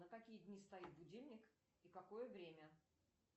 на какие дни стоит будильник и какое время